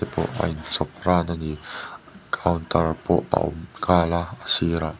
pawh a in chhawp ran a counter pawh a awm nghal a sirah--